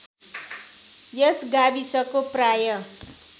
यस गाविसको प्राय